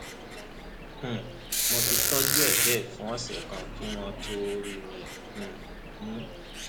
um mo ti tọjú ẹ bẹẹ fún ọsẹ kan kí wọn tóó rí mi um mú